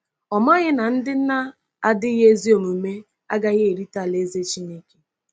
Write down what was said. Ọ̀ maghị na ndị na-adịghị ezi omume agaghị erite Alaeze Chineke?